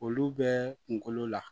Olu bɛ kunkolo la